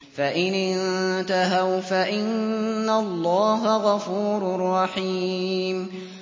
فَإِنِ انتَهَوْا فَإِنَّ اللَّهَ غَفُورٌ رَّحِيمٌ